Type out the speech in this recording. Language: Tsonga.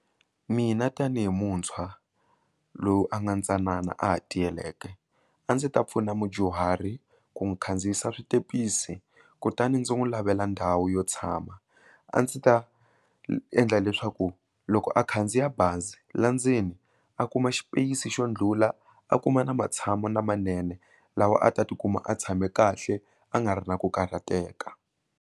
Mina tanihi muntshwa lowu a nga ntsanana a ha tiyileke a ndzi ta pfuna mudyuhari ku n'wi khandziyisa switepisi kutani ndzi n'wi lavela ndhawu yo tshama a ndzi ta endla leswaku loko a khandziya bazi la ndzeni a kuma xipeyisi xo ndlhula a kuma na matshamelo lamanene lawa a ta tikuma a tshame kahle a nga ri na ku karhateka.